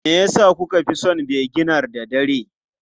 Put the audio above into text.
Me yasa kuka fi son vinegar da dare?